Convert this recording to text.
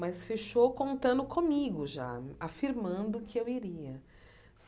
Mas fechou contando comigo já, afirmando que eu iria.